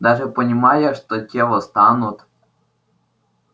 даже понимая что те восстанут